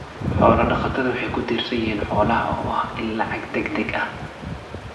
Xoolo-dhaqatada waxay ku tiirsan yihiin xoolaha oo ah il lacag degdeg ah.